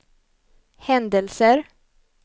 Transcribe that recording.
händelser